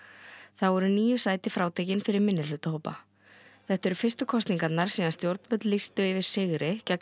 þá eru níu sæti frátekin fyrir minnihlutahópa þetta eru fyrstu kosningarnar síðan stjórnvöld lýstu yfir sigri gegni